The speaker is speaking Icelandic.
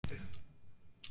Nú er hún farin.